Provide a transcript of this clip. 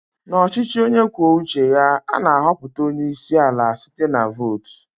N'ọchịchị onye kwuo uche ya, a na-ahọpụta onye isi ala site na-vot.